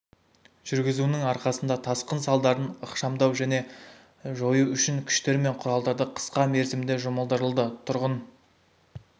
жүргізуінің арқасында тасқын салдарын ықшамдау мен жою үшін күштер мен құралдары қысқа мерзімде жұмылдырылды тұрғын